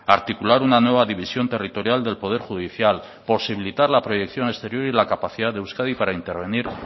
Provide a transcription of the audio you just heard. articular una nueva división territorial del poder judicial posibilitar la proyección exterior y la capacidad de euskadi para intervenir